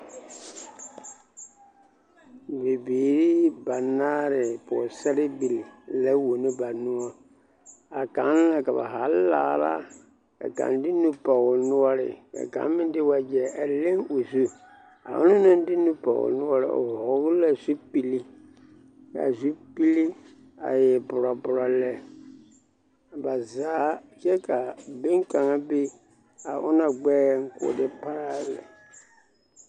Bibiiri banaare pɔgesarebili la wono ba noɔ a kaŋ ka ba zaa laara ka kaŋ de nu pɔge o noɔre ka kaŋ meŋ de wagyɛ a leŋ o zu a o naŋ de nu pɔge o noɔre o vɔgele la zupili k'a zupili a e borɔborɔ lɛ, ba zaa kyɛ ka boŋkaŋa be a onaŋ gbɛɛŋ k'o de taa lɛ.